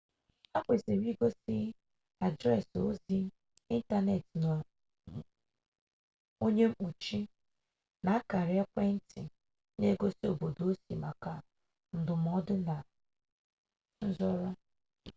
ha kwesịrị igosi adreesị ozi ịntanetị onye mkpuchi na akara ekwentị n'egosi obodo osi maka ndụmọdụ na nzọrọ